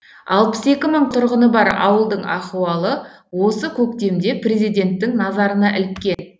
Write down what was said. алпыс екі мың тұрғыны бар ауылдың ахуалы осы көктемде президенттің назарына іліккен